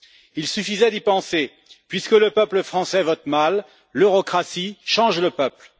Il suffisait d'y penser puisque le peuple français vote mal, l'eurocratie change le peuple.